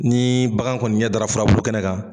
Ni bagan kɔni ɲɛ dara furabulu kɛnɛ kan.